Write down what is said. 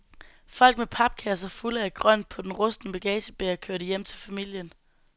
Folk med papkasser fulde af grønt på den rustne bagagebærer, kørte hjem til familien.